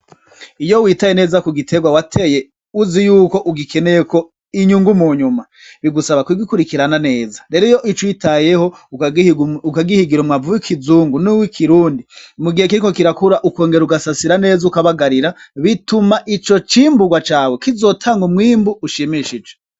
Iyo witaye neza ku giiterwa wateye uzi yuko ugikeneyeko inyungu mu nyuma bigusaba ku gikurikirana neza rero iyo ucitayeho ukagihigira umwavu w'ikizungu n'uwikirundi mu gihe kiriko kirakura ukongera ugasasira neza ukabagarira bituma ico cimburwa cawe kizotanga umwimbu ushimishije.